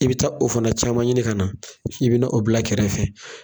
I bɛ taa o fana caman ɲini ka na k'i bɛ n' o bila kɛrɛfɛ.